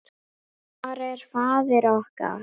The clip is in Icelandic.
Hvar er faðir okkar?